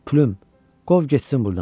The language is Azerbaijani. Pülüüm, qov getsin burdan.